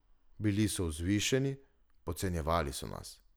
Bili so vzvišeni, podcenjevali so nas.